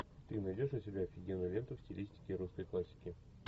ты найдешь у себя офигенную ленту в стилистике русской классики